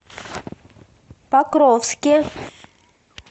покровске